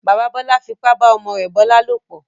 Bàbá Bọ́lá fipá bá ọmọ rẹ̀ Bọ́lá lòplọ̀.